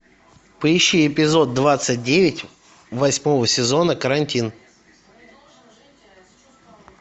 поищи эпизод двадцать девять восьмого сезона карантин